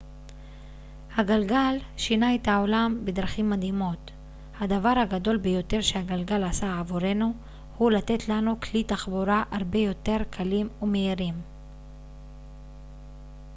הגלגל שינה את העולם בדרכים מדהימות הדבר הגדול ביותר שהגלגל עשה עבורנו הוא לתת לנו כלי תחבורה הרבה יותר קלים ומהירים